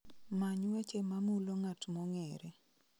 Many weche mamulo ng'at mong'ere